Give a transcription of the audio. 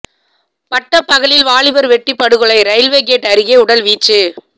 பட்டபகலில் வாலிபர் வெட்டி படுகொலை ரயில்வே கேட் அருகே உடல் வீச்சு